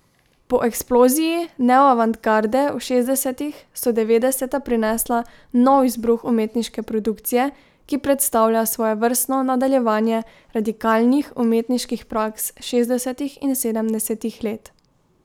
Po eksploziji neoavantgarde v šestdesetih so devetdeseta prinesla nov izbruh umetniške produkcije, ki predstavlja svojevrstno nadaljevanje radikalnih umetniških praks šestdesetih in sedemdesetih let.